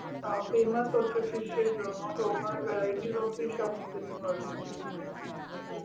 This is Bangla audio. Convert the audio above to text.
আহ famous হচ্ছে fish এর জন্য তো ওখানে varieties of fish আপনি খেতে পারেন